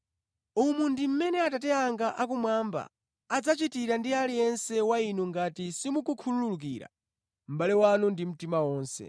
“Umu ndi mmene Atate anga akumwamba adzachitira ndi aliyense wa inu ngati simukhululukira mʼbale wanu ndi mtima wonse.”